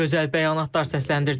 Gözəl bəyanatlar səsləndirdilər.